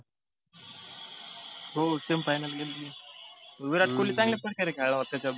हो semi final ला गेलतो. विराट कोल्ही चांगल्या प्रकारे खेळला होता त्याच्यात.